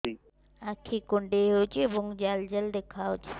ଆଖି କୁଣ୍ଡେଇ ହେଉଛି ଏବଂ ଜାଲ ଜାଲ ଦେଖାଯାଉଛି